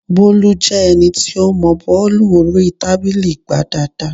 Bólú jẹ́ ẹni tí ó mọọ bọ́ọ̀lù orí tábìlì gbá dáadáa